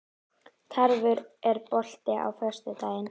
Tarfur, er bolti á föstudaginn?